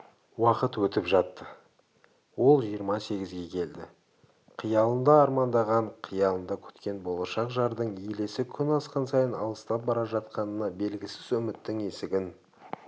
уақыт өтіп жатты ол жиырма сегізге келді қиялында армандаған қиялында күткен болашақ жардың елесі күн асқан сайын алыстап бара жатқанына белгісіз үміттің есігін